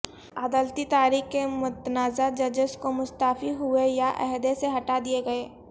عدالتی تاریخ کے متنازع ججز جو مستعفی ہوئے یا عہدے سے ہٹا دیے گئے